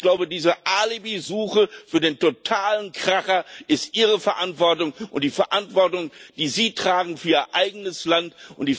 Ich glaube, diese Alibisuche für den totalen Kracher ist Ihre Verantwortung und die Verantwortung, die Sie für Ihr eigenes Land tragen.